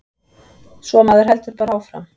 Svo maður heldur bara áfram.